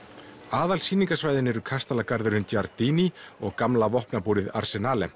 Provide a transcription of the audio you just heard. kastalagarðurinn Giardini og gamla vopnabúrið